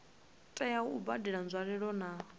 tea u badela nzwalelo na